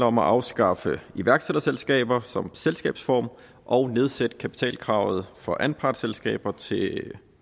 om at afskaffe iværksætterselskaber som selskabsform og nedsætte kapitalkravet for anpartsselskaber til